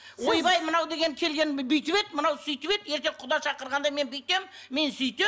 ойбай мынау деген бүйтіп еді мынау сөйтіп еді ертең құда шақырғанда мен бүйтем мен сөйтем